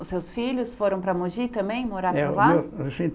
Os seus filhos foram para Mogi também, morar por lá?